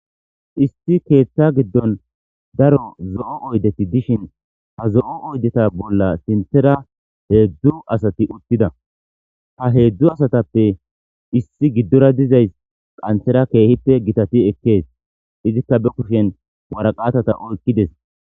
Issi keetha gidon daro zo'o oydeti dishn ha zo'o oydeta bolla sinthera hedzdzu asati utida. Ha hedzdzu asatappe issi giddora dizaysi qanthera keehippe gitati ekes, izika be kushen waraqataza oykides.